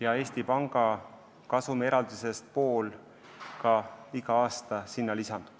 Ja sinna lisandub iga aasta ka pool Eesti Panga kasumieraldisest.